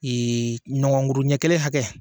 Ee nɔgɔnkuru ɲɛ kelen hakɛ